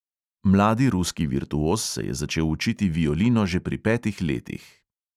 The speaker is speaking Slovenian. Mladi ruski virtuoz se je začel učiti violino že pri petih letih.